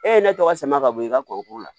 E ye ne tɔgɔ sama ka bɔ i ka kɔrɔ la